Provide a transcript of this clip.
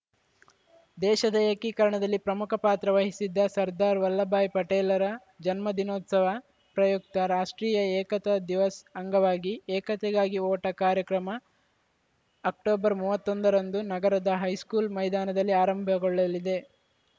ದೇಶದ ಏಕೀಕರಣದಲ್ಲಿ ಪ್ರಮುಖ ಪಾತ್ರ ವಹಿಸಿದ್ದ ಸರ್ದಾರ್‌ ವಲ್ಲಭಾಯಿ ಪಟೇಲ್‌ರ ಜನ್ಮದಿನೋತ್ಸವ ಪ್ರಯುಕ್ತ ರಾಷ್ಟ್ರೀಯ ಏಕತಾ ದಿವಸ್‌ ಅಂಗವಾಗಿ ಏಕತೆಗಾಗಿ ಓಟ ಕಾರ್ಯಕ್ರಮ ಅಕ್ಟೊಬರ್ ಮೂವತ್ತೊಂದರಂದು ನಗರದ ಹೈಸ್ಕೂಲ್‌ ಮೈದಾನದಲ್ಲಿ ಆರಂಭಗೊಳ್ಳಲಿದೆ